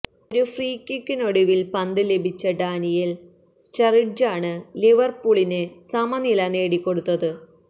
ഒരു ഫ്രീകിക്കിനൊടുവില് പന്ത് ലഭിച്ച ഡാനിയേല് സ്റ്ററിഡ്ജാണ് ലിവര്പൂളിന് സമനില നേടിക്കൊടുത്തത്